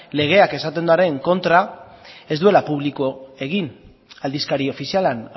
legeak esaten duenaren kontra ez duela publiko egin aldizkari ofizialean